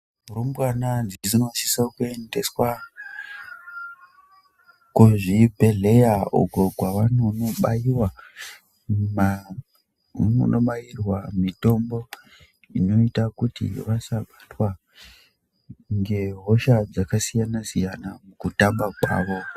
Arumbwana dzinosiso kuendeswa kuzvibhedhleya, uko kwavanonobaiwa ma kwavanonobairwa mitombo, inoita kuti vasabatwa ngehosha dzakasiyana-siyana mukutamba kwavo.